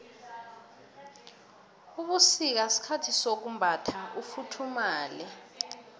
ubusika sikhathi sokumbatha ufuthumale